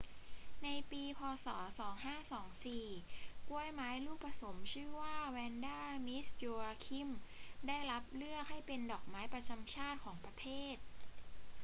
ในปี พ. ศ. 2524 กล้วยไม้ลูกผสมชื่อว่าแวนดา มิส โยอาคิม ได้รับเลือกให้เป็นดอกไม้ประจำชาติของประเทศ